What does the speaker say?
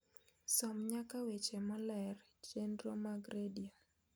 som nyaka weche moler, chenro mag redio